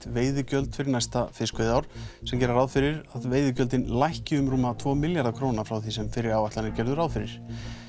veiðigjöld fyrir næsta fiskveiðiár sem gera ráð fyrir að veiðigjöld lækki um rúma tvo milljarða króna frá því sem fyrri áætlanir gerðu ráð fyrir